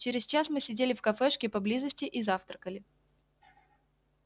через час мы сидели в кафешке поблизости и завтракали